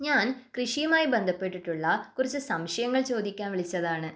ഞാൻ കൃഷിയുമായി ബന്ധപ്പെട്ടിട്ടുള്ള കുറച്ച് സംശയങ്ങൾ ചോദിക്കാൻ വിളിച്ചതാണ്.